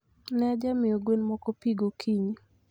Ne ajamiyo gwen moko pi gokinyi